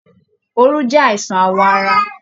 Òru jẹ àìsàn awọ ara.